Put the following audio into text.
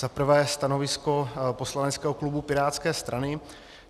Za prvé stanovisko poslaneckého klubu pirátské strany.